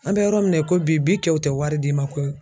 An bɛ yɔrɔ min na i ko bi bi kɛw tɛ wari d'i ma koyi.